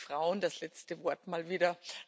Heute haben die Frauen das letzte Wort mal wieder.